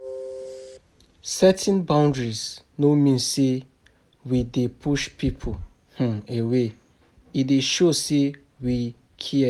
Setting boundaries no mean say we dey push people um away; e dey show sey we care.